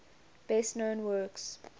best known works